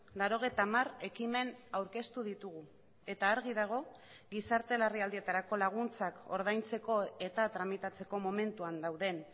laurogeita hamar ekimen aurkeztu ditugu eta argi dago gizarte larrialdietarako laguntzak ordaintzeko eta tramitatzeko momentuan dauden